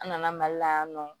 An nana mali la yan nɔ